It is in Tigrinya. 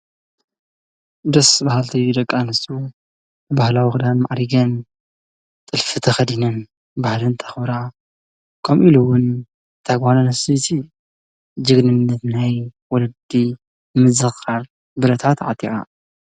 ደስ ባሃልቲ ደቂ ኣንስትዮ ባህላዊ ክዳን ማዕሪገን ጥልፊ ተኸዲነን ባህለን ከኽብራ ከምኡኢሉ ውን እታ ጓል ኣንስተይቲ ጅግንነት ናይ ወለዲ ንምዝኽኻር ብረታ ተዓጢቓ።